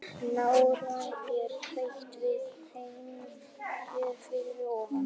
Nánar er rætt við Heimi hér fyrir ofan.